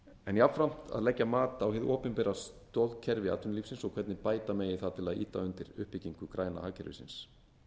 en jafnframt að leggja mat á hið opinbera stoðkerfi atvinnulífsins og hvernig bæta megi það til að ýta undir uppbyggingu græna hagkerfisins